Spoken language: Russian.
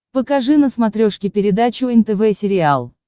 покажи на смотрешке передачу нтв сериал